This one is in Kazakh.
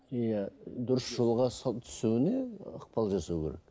иә дұрыс жолға түсуіне ықпал жасау керек